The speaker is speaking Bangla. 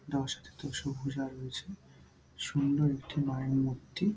দশ দশভূজা রয়েছে সুন্দর একটি মায়ের মূর্তি।